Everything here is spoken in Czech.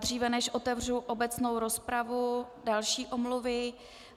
Dříve než otevřu obecnou rozpravu, další omluvy.